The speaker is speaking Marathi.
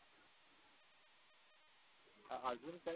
अजून काय.